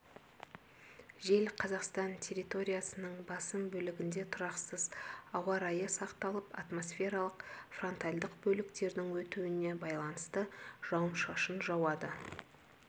жел қазақстан территориясының басым бөлігінде тұрақсыз ауа райы сақталып атмосфералық фронтальдық бөліктердің өтуіне байланысты жауын-шашын жауады